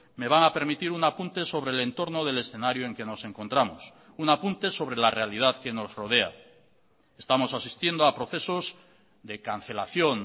me van a permitir un apunte sobre el entorno del escenario en que nos encontramos un apunte sobre la realidad que nos rodea estamos asistiendo a procesos de cancelación